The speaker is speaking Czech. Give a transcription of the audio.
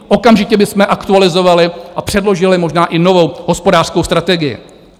Okamžitě bychom aktualizovali a předložili možná i novou hospodářskou strategii.